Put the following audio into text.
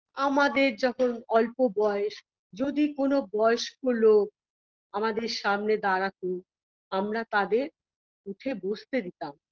আমাদের যখন অল্প বয়স যদি কোনো বয়স্ক লোক আমাদের সামনে দাঁড়াতো আমরা তাদের উঠে বসতে দিতাম